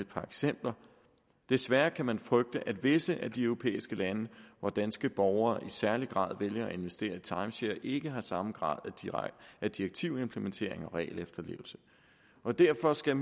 par eksempler desværre kan man frygte at visse af de europæiske lande hvor danske borgere i særlig grad vælger at investere i timeshare ikke har samme grad af direktivimplementering og regelefterlevelse og derfor skal